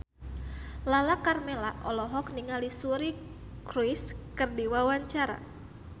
Lala Karmela olohok ningali Suri Cruise keur diwawancara